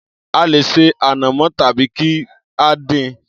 A lè ṣe ànàmọ́ tàbí kí á dín-in.